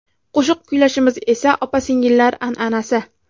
Qo‘shiq kuylashimiz esa opa-singillar an’anasi.